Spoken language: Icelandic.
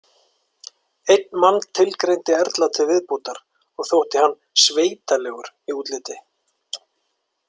Einn mann tilgreindi Erla til viðbótar og þótt hann „sveitalegur“ í útliti.